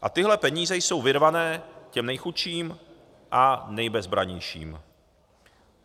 A tyhle peníze jsou vyrvané těm nejchudším a nejbezbrannějším.